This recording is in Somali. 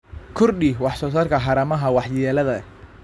Kordhi wax soo saarka haramaha waxyeelada leh.